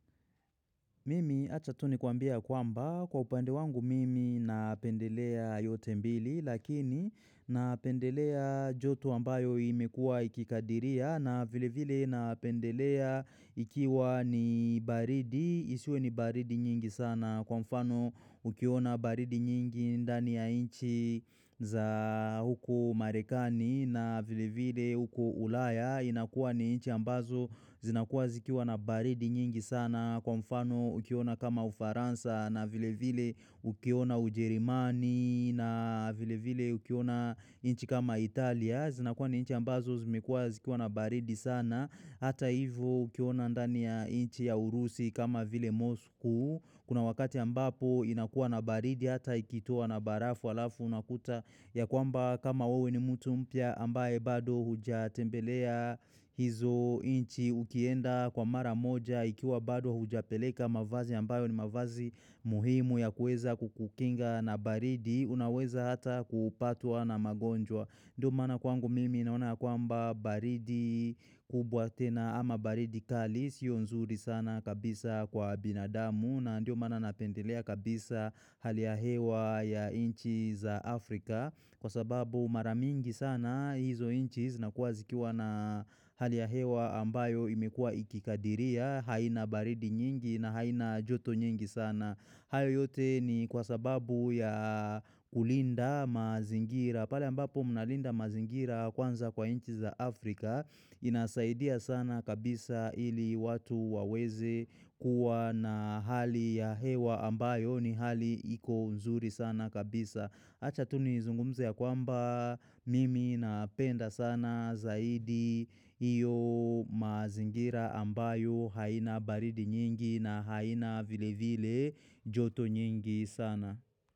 Mimi achatuni kuambie ya kwamba kwa upande wangu mimi napendelea yote mbili lakini napendelea joto ambayo imekua ikikadiria na vile vile napendelea ikiwa ni baridi isiwe ni baridi nyingi sana kwa mfano ukiona baridi nyingi ndani ya inchi za huku marekani na vile vile huku ulaya inakuwa ni inchi ambazo zinakuwa zikiwa na baridi nyingi sana na kwa mfano ukiona kama ufaransa na vile vile ukiona ujerimani na vile vile ukiona inchi kama Italia. Zinakuwa ni inchi ambazo zimekuwa zikiwa na baridi sana. Hata hivo ukiona ndani ya inchi ya urusi kama vile Moskou. Kuna wakati ambapo inakuwa na baridi hata ikitua na barafu alafu unakuta ya kwamba kama wewe ni mtu mpya ambaye bado huja tembelea hizo inchi. Ukienda kwa mara moja ikiwa bado hujapeleka mavazi ambayo ni mavazi muhimu ya kuweza kukukinga na baridi. Unaweza hata kupatwa na magonjwa. Ndio mana kwangu mimi naona kwa mba baridi kubwa tena ama baridi kalis. Yonzuri sana kabisa kwa binadamu na ndio mana napendelea kabisa haliyahewa ya inchi za Afrika. Kwa sababu maramingi sana hizo inchi zinakua zikiwa na hali ya hewa ambayo imekua ikikadiria haina baridi nyingi na haina joto nyingi sana hayo yote ni kwa sababu ya kulinda mazingira pale ambapo mnalinda mazingira kwanza kwa inchi za Afrika inasaidia sana kabisa ili watu waweze kuwa na hali ya hewa ambayo ni hali iko nzuri sana kabisa Acha tuni zungumze ya kwamba mimi napenda sana zaidi hio mazingira ambayo haina baridi nyingi na haina vile vile joto nyingi sana.